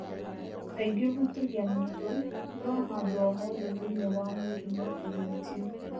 Kaingĩ ũhutagia mũtwe, no handũ o hothe thĩinĩ wa mwĩrĩ no kũhutio.